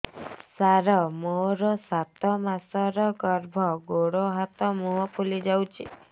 ସାର ମୋର ସାତ ମାସର ଗର୍ଭ ଗୋଡ଼ ହାତ ମୁହଁ ଫୁଲି ଯାଉଛି